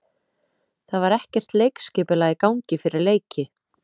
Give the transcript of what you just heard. Það var ekkert leikskipulag í gangi fyrir leiki.